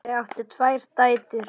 Þau áttu tvær dætur.